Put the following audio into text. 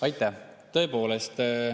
Aitäh!